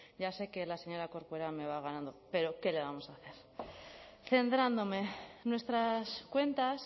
ya sé que la señora corcuera me va ganando pero qué le vamos a hacer centrándome nuestras cuentas